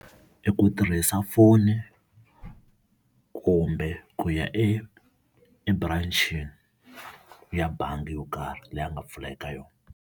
I ku tirhisa foni kumbe ku ya eburanchini ya bangi yo karhi leyi a nga pfula eka yona.